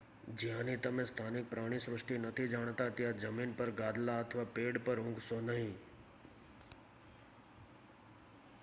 જ્યાંની તમે સ્થાનિક પ્રાણીસૃષ્ટિ નથી જાણતા ત્યાં જમીન પર ગાદલા અથવા પેડ પર ઊંઘશો નહીં